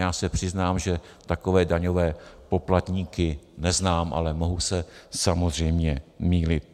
Já se přiznám, že takové daňové poplatníky neznám, ale mohu se samozřejmě mýlit.